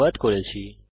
অংশগ্রহনের জন্য ধন্যবাদ